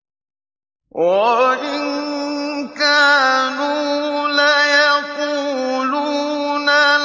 وَإِن كَانُوا لَيَقُولُونَ